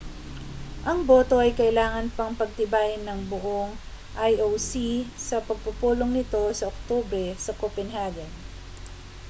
ang boto ay kailangan pang pagtibayin ng buong ioc sa pagpupulong nito sa oktubre sa copenhagen